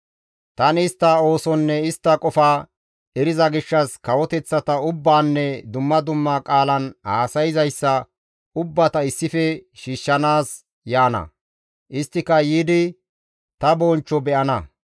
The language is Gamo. «Tani istta oosonne istta qofa eriza gishshas, kawoteththata ubbaanne dumma dumma qaalan haasayza ubbata issife shiishshanaas yaana; isttika yiidi ta bonchcho be7ana.